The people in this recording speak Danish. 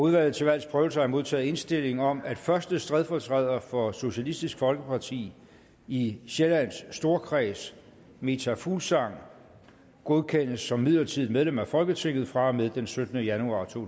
udvalget til valgs prøvelse har jeg modtaget indstilling om at første stedfortræder for socialistisk folkeparti i sjællands storkreds meta fuglsang godkendes som midlertidigt medlem af folketinget fra og med den syttende januar to